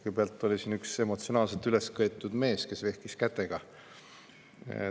Kõigepealt oli siin üks emotsionaalselt üles köetud mees, kes vehkis kätega.